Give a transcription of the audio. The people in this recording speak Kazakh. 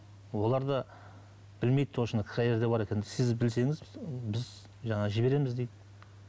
олар да білмейді точно қай жерде бар екенін сіз білсеңіз біз жаңағы жібереміз дейді